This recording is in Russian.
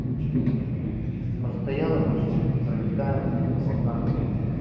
постоянно почему-то пролетаем с абакана